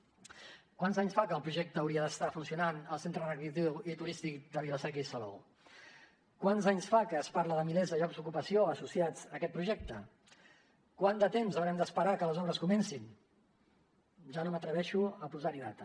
quants anys fa que el projecte hauria d’estar funcionant al centre recreatiu turístic de vila seca i salou quants anys fa que es parla de milers de llocs d’ocupació associats a aquest projecte quant de temps haurem d’esperar que les obres comencin ja no m’atreveixo a posar hi data